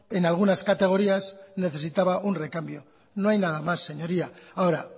en algunas categorías necesitaba un recambio no hay nada más señoría ahora